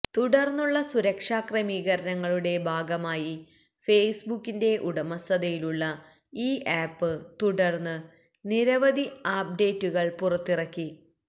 തുടർന്നുള്ള സുരക്ഷാക്രമീകരണങ്ങളുടെ ഭാഗമായി ഫേസ്ബുക്കിന്റെ ഉടമസ്ഥതയിലുള്ള ഈ ആപ്പ് തുടർന്ന് നിരവധി അപ്ഡേറ്റുകൾ പുറത്തിറക്കി